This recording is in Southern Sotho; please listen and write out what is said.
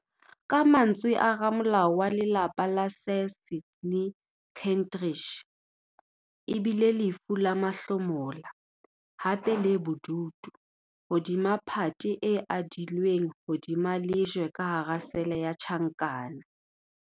Ka mantswe a ramolao wa lelapa Sir Sydney Kentridge, e bile "lefu la mahlomola, hape le bodutu - hodima phate e adilweng hodima lejwe ka hara sele ya tjhankana".